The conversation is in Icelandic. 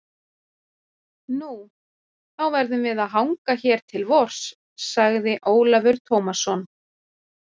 Nú, þá verðum við að hanga hér til vors, sagði Ólafur Tómasson.